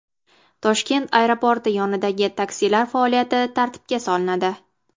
Toshkent aeroporti yonidagi taksilar faoliyati tartibga solinadi.